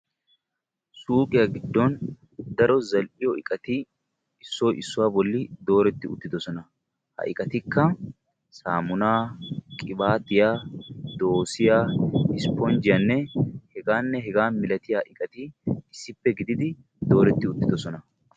Suuqiyaa giddon daro zal"iyo iqati issoy issuwaa bolli dooretti uuttidosona. Ha iqatikka saamuna, qibaatiya, doossiyaa esponjjiyanne hegaanne hegaa milatiya iqati issippe gidid dooretti uttidosona.